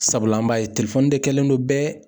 Sabula an b'a ye de kɛlen don bɛɛ